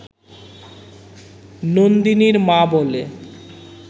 নন্দিনীর মা বলে